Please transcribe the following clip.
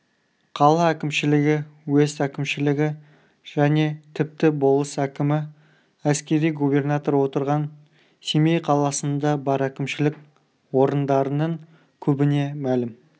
қала әкімшілігі уезд әкімшілігі және тіпті болыс әкімі әскери губернатор отырған семей қаласында бар әкімшілік орындарының көбіне мәлім